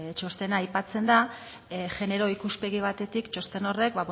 txostena aipatzen da genero ikuspegi batetik txosten horrek